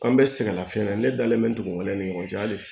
An bɛ sɛgɛn lafiɲɛn na ne dalen bɛ n kun ne ni ɲɔgɔn cɛ hali